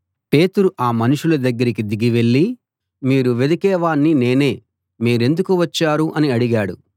పేతురు ఆ మనుషుల దగ్గరికి దిగి వెళ్ళి మీరు వెదికే వాణ్ణి నేనే మీరెందుకు వచ్చారు అని అడిగాడు